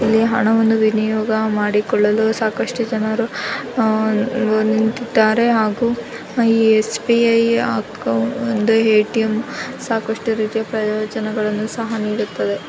ಇಲ್ಲಿ ಹಣವನ್ನು ವಿನಿಯೋಗ ಮಾಡಿಕೊಳ್ಳಲು ಸಾಕಷ್ಟು ಜನರು ನಿಂತಿದ್ದಾರೆ ಹಾಗು ಎಸ್ ಬೀ ಐ ಒಂದು ಏ ಟಿ ಎಂ ಸಾಕ್ಷ್ಟು ಪ್ರಯೋಜನಗಲ್ಲು ಕೂಡ ನೀಡುತ್ತದೆ..